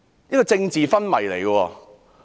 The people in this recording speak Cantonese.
這是政治昏迷。